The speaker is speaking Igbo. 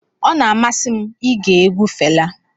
Ọ na-amasị m ige egwu Fela.